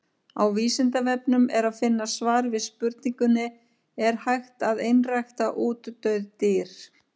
Á Vísindavefnum er að finna svar við spurningunni Er hægt að einrækta útdauð dýr?